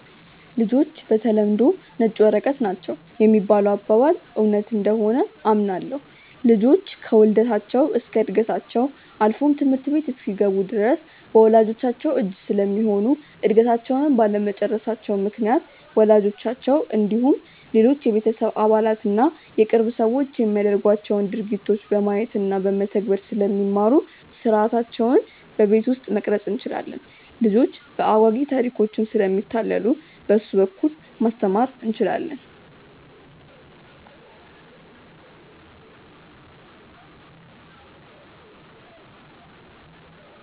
''ልጆች በተለምዶ ነጭ ወረቀቶች ናቸው ''የሚባለው አባባል እውነት እንደሆነ አምናለሁ። ልጆች ከውልደታቸው እስከ ዕድገታቸው አልፎም ትምህርት ቤት እስኪገቡ ድረስ በወላጅቻቸው እጅ ስለሚሆኑ እድገታቸውንም ባለመጨረሳቸው ምክንያት ወላጆቻቸው እንዲሁም ሌሎች የቤተሰብ አባላት እና የቅርብ ሰዎች የሚያደርጓቸውን ድርጊቶች በማየት እና በመተግበር ስለሚማሩ ሥርዓታቸውን በቤት ውስጥ መቅረፅ እንችላለን። ልጆች በአጓጊ ታሪኮችም ስለሚታለሉ በእሱ በኩል ማስተማር እንችላለን።